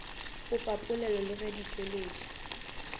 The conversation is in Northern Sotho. popapolelo le ge di tšweletšwa